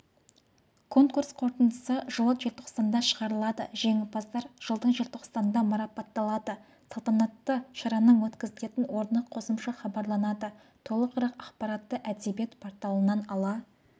конкурс қорытындысы жылы желтоқсанда шығарылады жеңімпаздар жылдың желтоқсанында марапатталады салтанатты шараның өткізілетін орны қосымша хабарланады толығырақ ақпаратты әдебиет порталынан ала